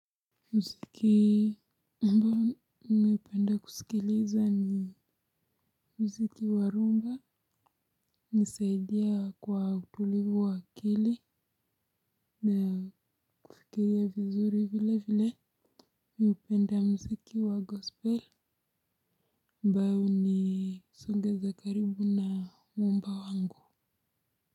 Muziki ambao mihupenda kusikiliza ni muziki wa rumba, hunisaidia kwa utulivu wa akili, na kusikia vizuri vile vile, mihupenda muziki wa gospel, ambao hunisongeza karibu na mumba wangu.